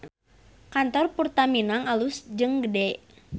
Kantor Purta Minang alus jeung gede